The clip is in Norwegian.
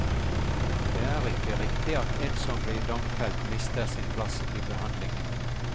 Det er ikke riktig at en som blir domfelt mister sin plass i behandlingen.